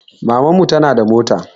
Maman mu tana da mota